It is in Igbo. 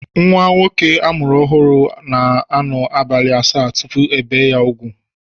Nwa nwoke a mụrụ ọhụụ na-anọ abalị asaa tupu ebee ya úgwù